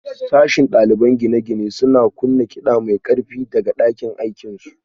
Sashen ɗaliban gine-gine suna kunna kiɗa mai ƙarfi daga ɗakin aikinsu